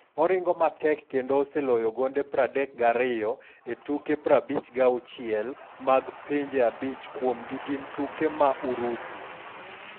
Oringo matek kendo oseloyo gonde 32 e tuke 56 mag pinje, abich kuomgi gin tuke ma Urusi.